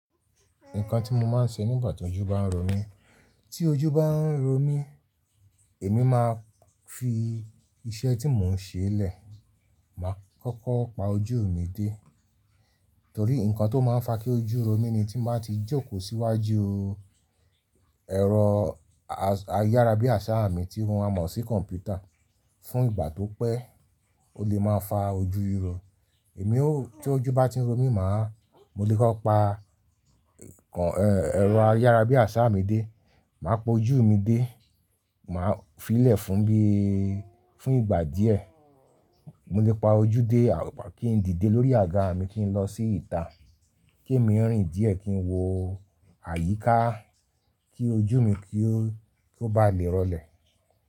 Nǹkan tí mo máa ń ṣe nígbà tí ojú bá ń ro mí, tí ojú bá ń ro mí, èmi máa fi iṣẹ́ tí mò ń ṣe lẹ̀, màá kọ́kọ́ pa ojú mi dé torí nǹkan tó máa ń fa kí ojú ro mí ni tí mo bá ti jókòó síwájú ẹ̀rọ ayárabíàṣá mi tí mo máa mọ̀ sí kọ̀mpútà fún ìgbà tó pẹ́, ó lè máa fa ojú ro. Èmi ó tí ojú bá ti ń ro mí, màá mo lè kọ́ pa ẹ̀rọ ayárabíàṣá mi dé, màá po ojú mi dé, màá fi í lẹ̀ fún bí i fún ìgbà díẹ̀. Mo lè pa ojú dé kí n díde lórí àga mi kí n lọ sí ìta, kí èmi rìn díẹ̀ kí n wo àyíká kí ojú mi kí ó bá lè rọlẹ̀.